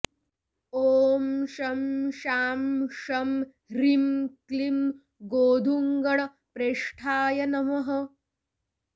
ॐ शं शां षं ह्रीं क्लीं गोधुग्गणप्रेष्ठाय नमः